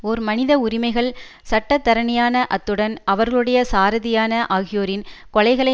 ஓர் மனித உரிமைகள் சட்டத்தரணியான அத்துடன் அவர்களுடைய சாரதியான ஆகியோரின் கொலைகளை